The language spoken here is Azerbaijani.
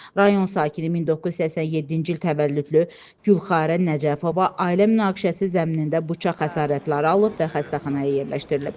Rayon sakini 1987-ci il təvəllüdlü Gülxarə Nəcəfova ailə münaqişəsi zəminində bıçaq xəsarətləri alıb və xəstəxanaya yerləşdirilib.